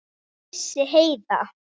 Hvað vissi Heiða?